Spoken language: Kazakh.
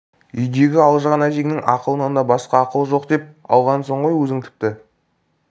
үйдегі алжыған әжеңнің ақылынан басқа ақыл жоқ деп алғансың ғой өзің тіпті